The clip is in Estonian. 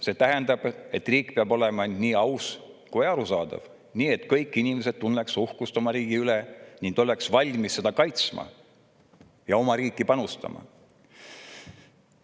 See tähendab, et riik peab olema nii aus ja arusaadav, et kõik inimesed tunneksid uhkust oma riigi üle, oleksid valmis seda kaitsma ja oma riiki panustama.